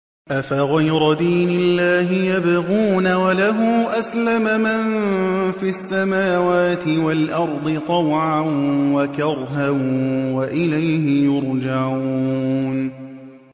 أَفَغَيْرَ دِينِ اللَّهِ يَبْغُونَ وَلَهُ أَسْلَمَ مَن فِي السَّمَاوَاتِ وَالْأَرْضِ طَوْعًا وَكَرْهًا وَإِلَيْهِ يُرْجَعُونَ